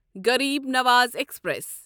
Garib Nawaz express